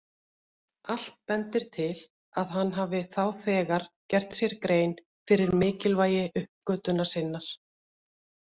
Allt bendir til að hann hafi þá þegar gert sér grein fyrir mikilvægi uppgötvunar sinnar.